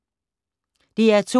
DR2